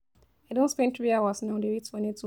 I don spend three hours now dey wait for network.